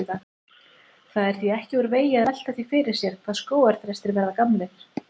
Það er því ekki úr vegi að velta því fyrir sér hvað skógarþrestir verða gamlir.